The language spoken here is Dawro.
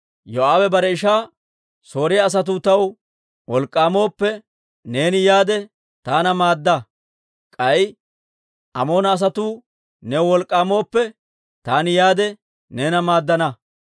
Yoo'aabe bare ishaa, «Sooriyaa asatuu taw wolk'k'aamooppe, neeni yaade, taana maadda. K'ay Amoona asatuu new wolk'k'aamooppe, taani yaade, neena maaddana.